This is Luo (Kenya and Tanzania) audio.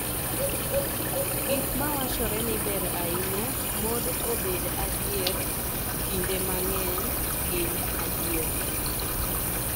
Gik ma wachore ni ber ahinya mod obed adiera kinde mang�eny gin adier.